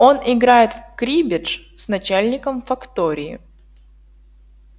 он играет в криббедж с начальником фактории